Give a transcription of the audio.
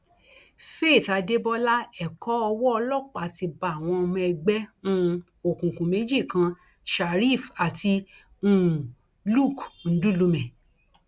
faith adébọlá ẹkọ owó ọlọpàá ti bá àwọn ọmọ ẹgbẹ um òkùnkùn méjì kan sheriff àti um luc ńdùlùmẹ